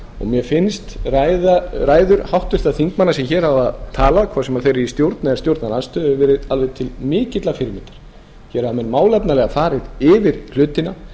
mér finnst ræður háttvirtra þingmanna sem hér hafa talað hvort sem þeir eru í stjórn eða stjórnarandstöðu hafa verið alveg til mikillar fyrirmyndar hér hafa menn málefnalega farið yfir hlutina